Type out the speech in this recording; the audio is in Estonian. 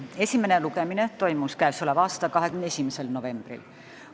Esimene lugemine toimus 21. novembril.